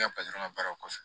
Ne ka ka baaraw kɔfɛ